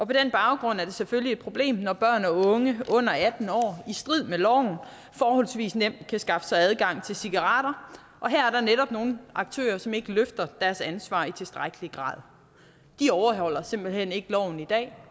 på den baggrund er det selvfølgelig et problem når børn og unge under atten år i strid med loven forholdsvis nemt kan skaffe sig adgang til cigaretter og her er der netop nogle aktører som ikke løfter deres ansvar i tilstrækkelig grad de overholder simpelt hen ikke loven i dag